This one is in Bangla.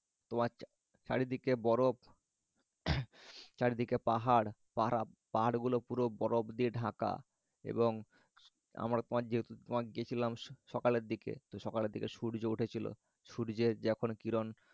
তোমার চাচারিদিকে বরফ চারদিকে পাহাড় পাহারা পাহাড়গুলো পুরো বরফ দিয়ে ঢাকা এবং আমরা যেহেতু তোমার গেছিলাম সসকালের দিকে তো সকালের দিকে সূর্য উঠেছিল সূর্যের যখন কিরণ